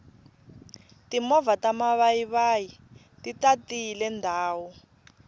timovha ta mavayivayi ti tatile ndhawu